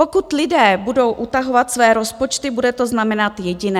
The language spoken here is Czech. Pokud lidé budou utahovat své rozpočty, bude to znamenat jediné.